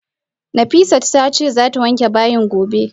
Nafisat tace zata wanke bayin gobe